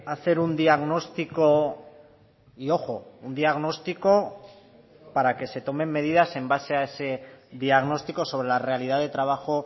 hacer un diagnóstico y ojo un diagnóstico para que se tomen medidas en base a ese diagnóstico sobre la realidad de trabajo